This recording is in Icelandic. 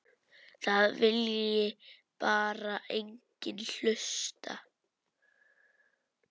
Það vilji bara enginn hlusta.